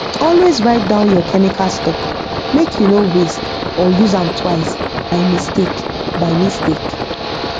always write down your chemical stock make you no waste or use am twice by mistake by mistake